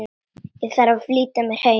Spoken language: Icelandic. Þarf að flýta mér heim.